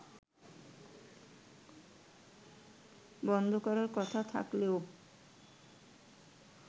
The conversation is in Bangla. বন্ধ করার কথা থাকলেও